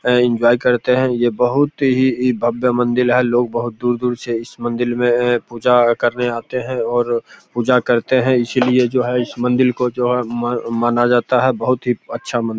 enjoy करते हैं ये बहुत ही भव्य मंदिर है लोग बहुत दूर-दूर से इस मंदिर में पूजा करने आते हैं और पूजा करते हैं इसलिए जो है इस मंदिर को जो है माना जाता है बहुत ही अच्छा मन --